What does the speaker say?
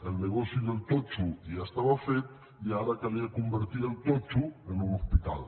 el negoci del totxo ja estava fet i ara calia convertir el totxo en un hospital